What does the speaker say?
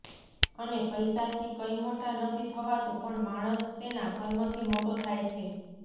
અને પૈસા થી કઈ મોટા નથી થવાતું પણ માણસ તેના કર્મ થી મોટો થાય છે